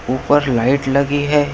ऊपर लाइट लगी है।